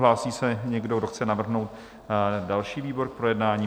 Hlásí se někdo, kdo chce navrhnout další výbor k projednání?